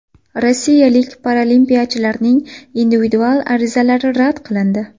Rossiyalik paralimpiyachilarning individual arizalari rad qilindi.